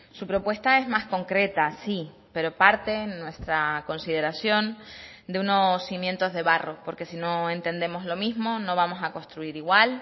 su propuesta es más concreta sí pero parte en nuestra consideración de unos cimientos de barro porque si no entendemos lo mismo no vamos a construir igual